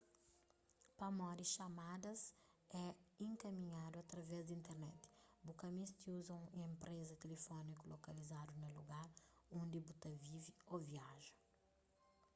pamodi xamadas é inkaminhadu através di internet bu ka meste uza un enpreza tilifóniku lokalizadu na lugar undi bu ta vive ô viaja